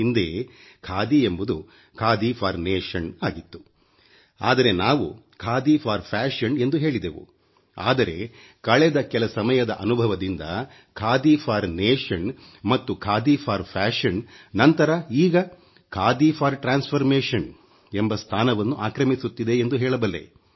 ಹಿಂದೆ ಖಾದಿ ಎಂಬುದು ದೇಶಕ್ಕಾಗಿ ಖಾದಿ ಆಗಿತ್ತು ಆದರೆ ನಾವು ಫೇಷನ್ ಗಾಗಿ ಖಾದಿ ಎಂದು ಹೇಳಿದೆವು ಆದರೆ ಕಳೆದ ಕೆಲ ಸಮಯದ ಅನುಭವದಿಂದ ದೇಶಕ್ಕಾಗಿ ಖಾದಿ ಮತ್ತು ಫೇಷನ್ ಗಾಗಿ ಖಾದಿ ನಂತರ ಈಗ ಪರಿವರ್ತನೆಗಾಗಿ ಬದಲಾವಣೆ ರೂಪಾಂತರ ಖಾದಿ ಎಂಬ ಸ್ಥಾನವನ್ನು ಆಕ್ರಮಿಸುತ್ತಿದೆ ಎಂದು ಹೇಳಬಲ್ಲೆ